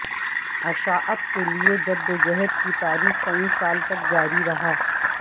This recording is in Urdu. اشاعت کے لئے جدوجہد کی تاریخ کئی سال تک جاری رہا